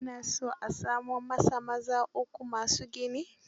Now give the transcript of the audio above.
Ya na so a samo masa maza uku ma su gini.